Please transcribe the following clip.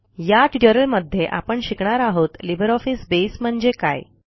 या ट्युटोरियलमध्ये आपण शिकणार आहोत लिब्रिऑफिस बसे म्हणजे काय